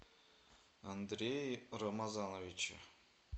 андрее рамазановиче